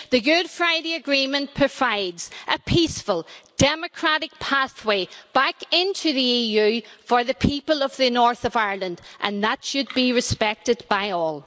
The Good Friday Agreement provides a peaceful, democratic pathway back into the EU for the people of the north of Ireland and that should be respected by all.